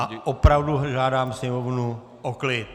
A opravdu žádám sněmovnu o klid.